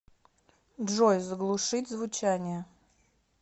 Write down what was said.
джой заглушить звучание